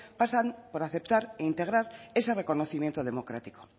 pasan por aceptar e integrar ese reconocimiento democrático